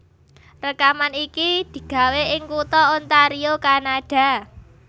Rèkaman iki digawé ing kutha Ontario Kanada